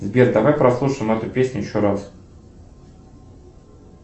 сбер давай прослушаем эту песню еще раз